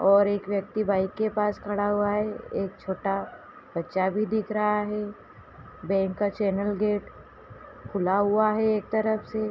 और एक व्यक्ति बाइक के पास खड़ा हुआ है। एक छोटा बच्चा भी दिख रहा है। बैंक का चैनल गेट खुला हुआ है एक तरफ से।